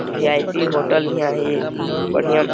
भी. I. P hotel इहाँ है ये बढ़िया --